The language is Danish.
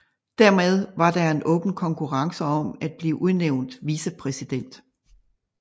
Dermed var der en åben konkurrence om at blive udnævnt vicepræsident